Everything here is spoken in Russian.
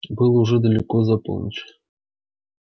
было уже далеко за полночь